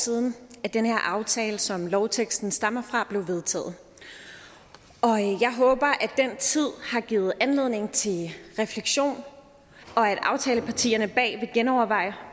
siden den her aftale som lovteksten stammer fra blev vedtaget og jeg håber at den tid har givet anledning til refleksion og at aftalepartierne bag vil genoverveje